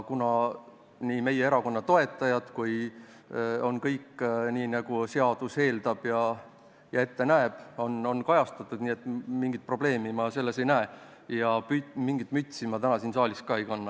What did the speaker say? Kuna kõik meie erakonna toetajad on kajastatud nii, nagu seadus eeldab ja ette näeb, siis mina mingit probleemi selles asjas ei näe ja mingit mütsi ma täna siin saalis ei kanna.